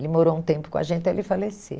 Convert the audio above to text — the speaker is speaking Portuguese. Ele morou um tempo com a gente até ele falecer.